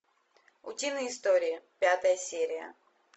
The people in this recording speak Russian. утиные истории пятая серия